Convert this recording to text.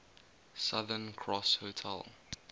southern cross hotel